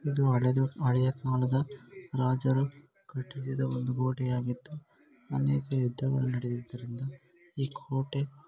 ಇದು ಹಳೆದು ಹಳೆಯ ಕಾಲದ ರಾಜರು ಕಟ್ಟಿಸಿದ ಒಂದು ಕೋಟೆಯಾಗಿದ್ದುಅನೇಕ ಯುದ್ಧಗಳು ನಡೆಯು ದರಿಂದ ಈ ಕೋಟೆ_